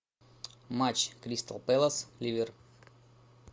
матч кристал пэлас ливер